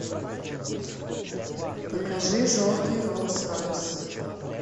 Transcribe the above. покажи желтый роллс ройс